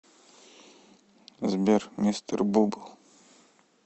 сбер мистер бубл